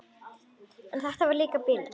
En þetta var líka bilun.